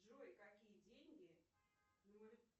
джой какие деньги